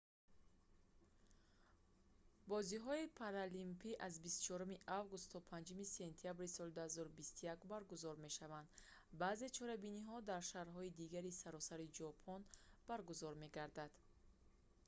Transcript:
бозиҳои паралимпӣ аз 24 август то 5 сентябри соли 2021 баргузор мешаванд баъзе чорабиниҳо дар шаҳрҳои дигари саросари ҷопон баргузор мегарданд